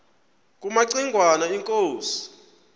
kumaci ngwana inkosi